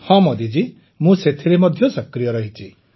ହଁ ମୋଦିଜୀ ମୁଁ ସେଥିରେ ସକ୍ରିୟ ରହିଛି